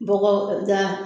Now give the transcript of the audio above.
Bɔgɔda